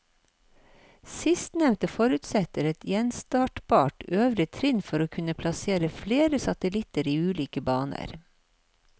Sistnevnte forutsetter et gjenstartbart øvre trinn for å kunne plassere flere satellitter i ulike baner.